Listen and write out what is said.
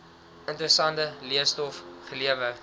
interessante leestof gelewer